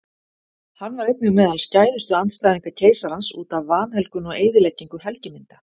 Hann var einnig meðal skæðustu andstæðinga keisarans útaf vanhelgun og eyðileggingu helgimynda.